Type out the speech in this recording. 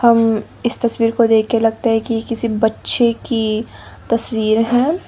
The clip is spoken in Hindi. अम् इस तस्वीर को देख के लगता है कि किसी बच्चे की तस्वीर है।